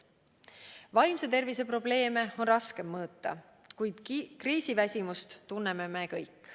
Vaimse tervise probleeme on raske mõõta, kuid kriisiväsimust tunneme me kõik.